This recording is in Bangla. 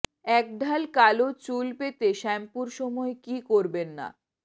একঢাল কালো চুল পেতে শ্যাম্পুর সময় কী করবেন না